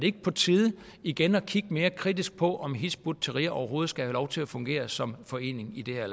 er på tide igen at kigge mere kritisk på om hizb ut tahrir overhovedet skal have lov til at fungere som forening i det her